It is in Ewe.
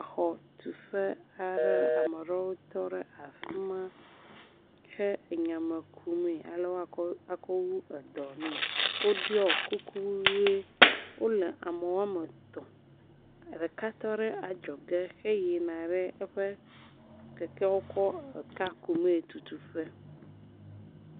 Exɔtuƒe aɖe. ame aɖewo tɔ ɖe afima he anya me kum me he woakɔ wu eɖɔ ŋu. wo ɖɔ kuk ʋi, wole ame woa me etɔ, ɖeka tɔ ɖe adzɔ ge he yina ɖe kekewo kɔ aka kum me tutut ƒe.